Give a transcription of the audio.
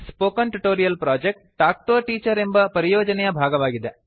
spoken tutorial project talk to a teacher ಎಂಬ ಪರಿಯೋಜನೆಯ ಭಾಗವಾಗಿದೆ